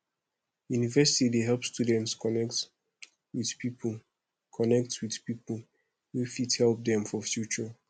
university dey help students connect with people connect with people wey fit help dem for future